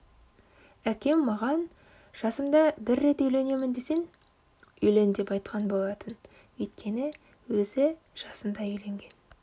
әкем маған жасымда бір рет үйленемін десең үйлен деп айтқан болатын өйткені өзі жасында үйленген